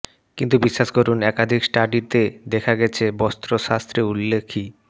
কিন্তু বিশ্বাস করুন একাধিক স্টাডিতে দেখা গেছে বাস্তুশাস্ত্রে উল্লেখি